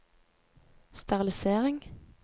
sterilisering